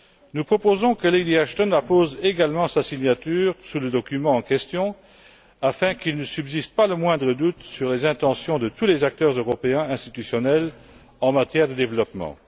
Nous proposons que Lady Ashton appose également sa signature sous le document en question afin qu'il ne subsiste pas le moindre doute sur les intentions de tous les acteurs européens institutionnels en matière de développement.